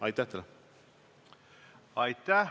Aitäh!